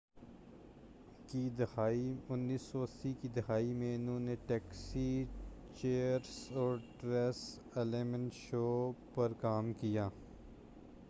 1980کی دہائی میں انہوں نے ٹیکسی چیئرس اور ٹریسی اُلمین شو پر کام کیا